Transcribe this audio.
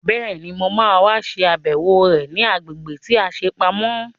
Bẹ́ẹ̀ni, mo ma wá ṣe àbẹ̀wò rẹ̀ ní agbègbè tí a ṣe pamọ́